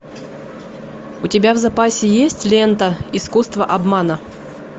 у тебя в запасе есть лента искусство обмана